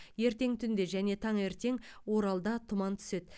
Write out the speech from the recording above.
ертең түнде және таңертең оралда тұман түседі